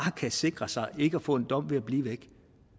kan sikre sig ikke at få en dom ved at blive væk